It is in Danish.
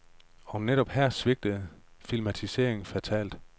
Og netop her svigter filmatiseringen fatalt.